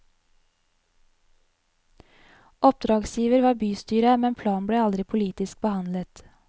Oppdragsgiver var bystyret, men planen ble aldri politisk behandlet.